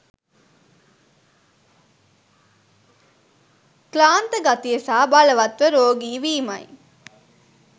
ක්ලාන්ත ගතිය සහ බලවත්ව රෝගී වීමයි.